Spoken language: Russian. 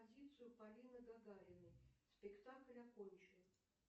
полины гагариной спектакль окончен